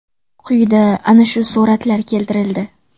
Quyida ana shu suratlar keltirildi.